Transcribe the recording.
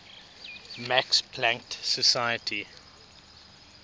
max planck society